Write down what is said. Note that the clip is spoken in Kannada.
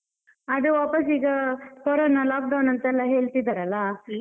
ಅದು ವಾಪಸ್ ಈಗ corona lockdown ಅಂತೆಲ್ಲ ಹೇಳ್ತಿದ್ದಾರಲ್ಲ?